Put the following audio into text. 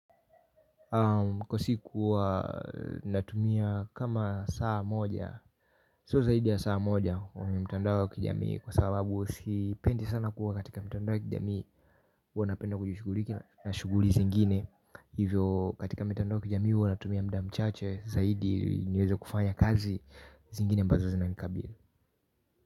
Kwa siku huwa natumia kama saa moja So zaidi ya saa moja mtandao kijamii. Kwa sababu sipendi sana kuwa katika mtandao wa kijamii huwa napenda kujushughuliki na shughuli zingine. Hivyo katika mitandao ya kijamii huwa natumia mda mchache. Zaidi niweze kufanya kazi zingine ambazo zinanikabili.